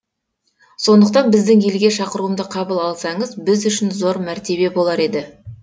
сондықтан біздің елге шақыруымды қабыл алсаңыз біз үшін зор мәртебе болар еді